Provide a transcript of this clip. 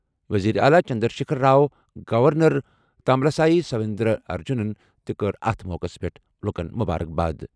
وزیر اعلیٰ چندر شیکھر راؤ، گورنر تاملسائی سوندراراجنَن تہِ کٔر اَتھ موقعَس پٮ۪ٹھ مبارکباد۔